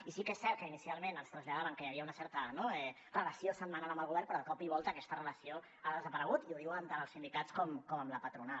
i sí que és cert que inicialment ens traslladaven que hi havia una certa relació setmanal amb el govern però de cop i volta aquesta relació ha desaparegut i ho diuen tant els sindicats com la patronal